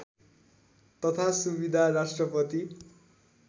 तथा सुविधा राष्ट्रपति